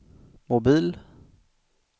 mobil